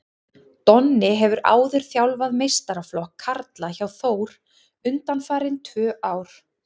Donni hefur áður þjálfað meistaraflokk karla hjá Þór undanfarin tvö ár.